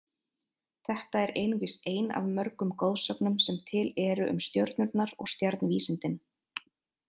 Þetta er einungis ein af mörgum goðsögnum sem til eru um stjörnurnar og stjarnvísindin.